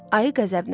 Ayı qəzəblə.